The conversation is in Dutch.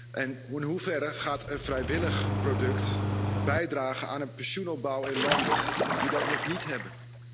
En in hoeverre gaat een vrijwillig product bijdragen aan de pensioenopbouw in landen die dat nog niet hebben?